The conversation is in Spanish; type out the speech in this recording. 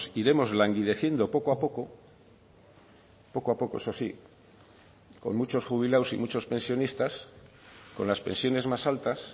iremos languideciendo poco a poco poco a poco eso sí con muchos jubilados y muchos pensionistas con las pensiones más altas